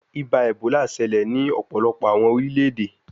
Iba Ebola ṣẹlẹ ni ọpọlọpọ awọn orilẹ-ede